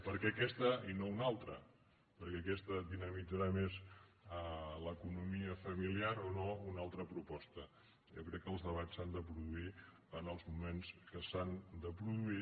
per què aquesta i no una altra per què aquesta dinamitzarà més l’economia familiar o no una altra proposta jo crec que els debats s’han de produir en els moments que s’han de produir